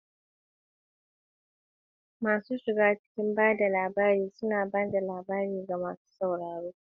Masu shiga cikin ba da labari suna ba da labari ga masu sauraro.